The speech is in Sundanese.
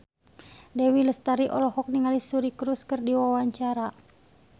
Dewi Lestari olohok ningali Suri Cruise keur diwawancara